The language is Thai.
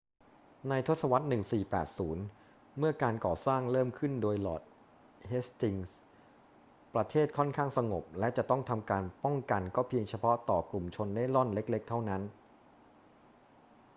ในทศวรรษ 1480 เมื่อการก่อสร้างเริ่มขึ้นโดยลอร์ดเฮสติงส์ ประเทศค่อนข้างสงบและจะต้องทำการป้องกันก็เพียงเฉพาะต่อกลุ่มชนเร่ร่อนเล็ก ๆ เท่านั้น